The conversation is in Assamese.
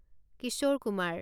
কিশোৰ কুমাৰ